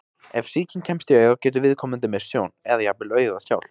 Ef sýking kemst í augað getur viðkomandi misst sjón, eða jafnvel augað sjálft.